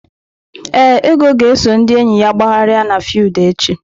Ee, Ego ga-eso ndị enyi ya gbagharịa n'fiudu echi.